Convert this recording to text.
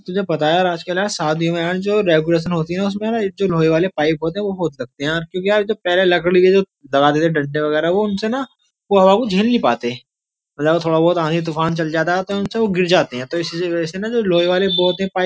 तुझे पता है यार आजकल शादियों में जो डेकोरेशन होती है उसमे न लोहे वाली पाइप होते है वो बहुत लगते हैं यार क्योंकि यार पहले जो लकड़ी के जो दबाते थे डंडे वगेरा वो उनसे ना वो हवा को झेल नहीं पाते मतलब जो थोड़ा आंधी तूफान चल जाता है तो उनसे वो गिर जाते हैं तो इसीलिए ना जो लोहे वाले होते हैं पाइप --